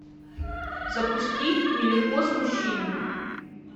запусти нелегко с мужчинами